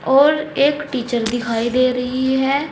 और एक टीचर दिखाई दे रही है।